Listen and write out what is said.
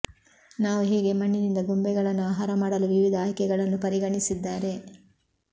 ನಾವು ಹೇಗೆ ಮಣ್ಣಿನಿಂದ ಗೊಂಬೆಗಳನ್ನು ಆಹಾರ ಮಾಡಲು ವಿವಿಧ ಆಯ್ಕೆಗಳನ್ನು ಪರಿಗಣಿಸಿದ್ದಾರೆ